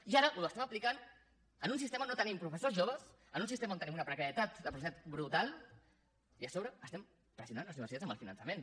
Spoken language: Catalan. i ara ho apliquem en un sistema on no tenim professors joves en un sistema on tenim una precarietat del professorat brutal i a sobre pressionem les universitats amb el finançament